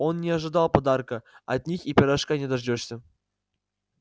он и не ожидал подарка от них и пирожка не дождёшься